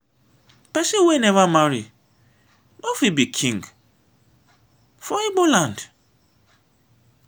pesin wey never marry no fit be king for igbo land.